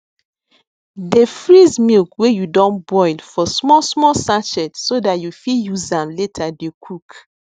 dey freeze milk wey you don boil for small small sachet so dat you fit use am later dey cook